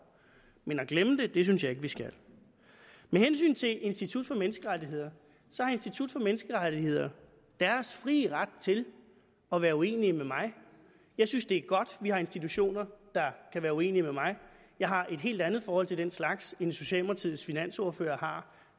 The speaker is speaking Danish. men at glemme det synes jeg ikke vi skal med hensyn til institut for menneskerettigheder så har institut for menneskerettigheder deres frie ret til at være uenig med mig jeg synes det er godt vi har institutioner der kan være uenig med mig jeg har et helt andet forhold til den slags end socialdemokratiets finansordfører